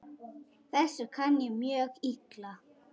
Þessu kann ég mjög illa.